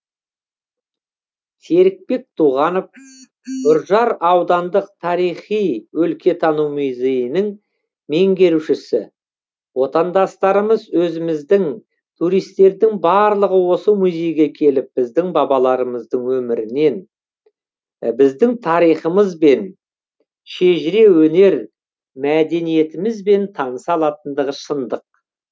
серікбек туғанов үржар аудандық тарихи өлкетану музейінің меңгерушісі отандастарымыз өзіміздің туристердің барлығы осы музейге келіп біздің бабаларымыздың өмірімен біздің тарихымызбен шежіре өнер мәдениетімізбен таныса алатындығы шындық